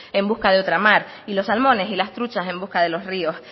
en busca de otra mar y los salmones y las truchas en busca de los ríos